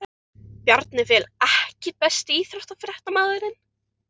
Bjarni Fel EKKI besti íþróttafréttamaðurinn?